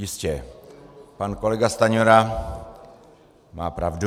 Jistě, pan kolega Stanjura má pravdu.